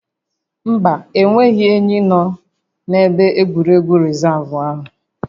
Mba, enweghị ényí nọ na-ebe egwuregwu rịzaavụ áhụ